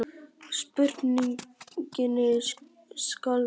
Spurningunni skal svarað.